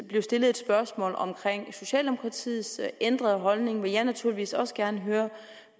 blev stillet et spørgsmål om socialdemokratiets ændrede holdning vil jeg naturligvis også gerne høre